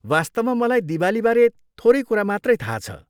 वास्तवमा, मलाई दिवालीबारे थोरै कुरा मात्रै थाहा छ।